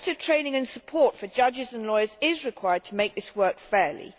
However, better training and support for judges and lawyers is required to make this work fairly.